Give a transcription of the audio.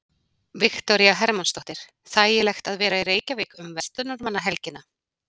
Viktoría Hermannsdóttir: Þægilegt að vera í Reykjavík um verslunarmannahelgina?